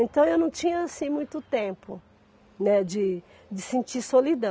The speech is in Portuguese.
Então, eu não tinha assim muito tempo, né de de sentir solidão.